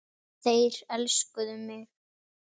Þeir elskuðu mig.